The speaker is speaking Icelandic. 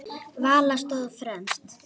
Vala stóð fremst.